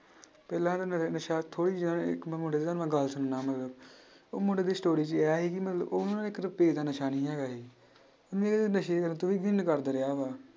ਪਹਿਲਾਂ ਹਨਾ ਨ~ ਨਸ਼ਾ ਇਕ ਮੈਂ ਮੁੰਡੇ ਦੀ ਤੁਹਾਨੂੰ ਮੈਂ ਗੱਲ ਉਹ ਮੁੰਡੇ ਦੀ story 'ਚ ਇਹ ਸੀ ਕਿ ਮਤਲਬ ਉਹ ਨਾ ਇੱਕ ਰੁਪਇਆ ਦਾ ਨਸ਼ਾ ਨੀ ਹੈਗਾ ਸੀ ਰਿਹਾ ਵਾ।